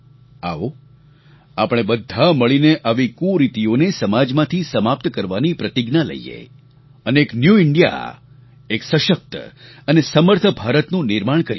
આવો આપણે બધા મળીને આવી કુરીતિઓને સમાજમાંથી સમાપ્ત કરવાની પ્રતિજ્ઞા લઈએ અને એક ન્યૂ ઇન્ડિયા એક સશક્ત અને સમર્થ ભારતનું નિર્માણ કરીએ